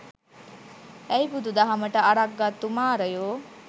ඈයි බුදු දහමට අරක් ගත්තු මාරයෝ